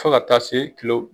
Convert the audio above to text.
Fo ka taa se kilo